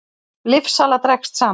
Lyfjasala dregst saman